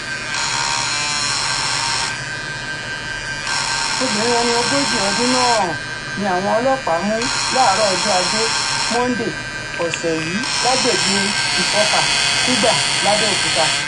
obìnrin ẹni ogójì ọdún náà um ni àwọn ọlọ́pàá mú láàárọ̀ ọjọ́ ajé monde ọ̀sẹ̀ yìí lágbègbè um ìsọ̀ka kùgbà làbẹ́ọ̀kúta